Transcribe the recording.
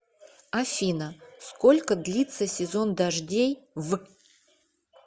афина сколько длится сезон дождей в